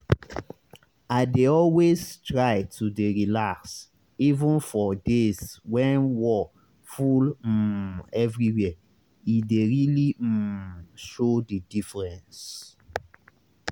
i dey always try to dey relax even for days when wor full um everywhere e dey really um show the diffreence